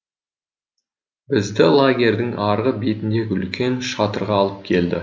бізді лагерьдің арғы бетіндегі үлкен шатырға алып келді